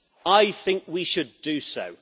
I think we should do so.